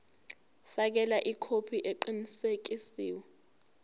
fakela ikhophi eqinisekisiwe